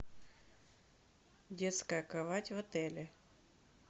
детская кровать в отеле